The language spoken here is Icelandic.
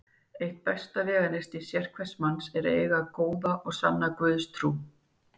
Eitt besta veganesti sérhvers manns er að eiga góða og sanna Guðstrú.